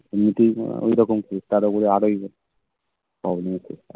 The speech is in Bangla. এমনিতেই ঐরকম case তার ওপরে আর even